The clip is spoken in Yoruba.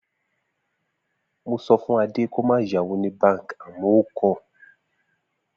Mo so̩ fún Adé kí ó má yá owó ní báǹkì àmó̩ ó kò̩